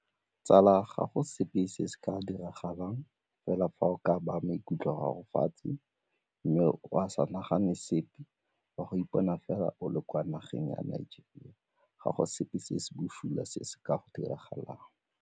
Tsala ga go sepe se se ka diragalang fela fa o ka baya maikutlo a gafo fatshe mme o a sa nagane sepe o a go ipona fela o le kwa nageng ya Nigeria, ga go sepe se se bosula se se ka go diragalang.